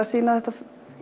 sýna þetta